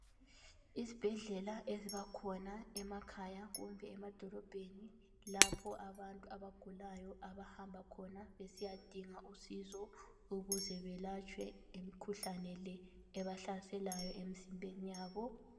Izibhedlela ezibakhona emakhaya kumbe emadorobheni lapho abantu abagulayo abahamba khona besiyadinga usizo ukuze belatshwe imkhuhlane le ebahlaselayo emzimbeni yabo.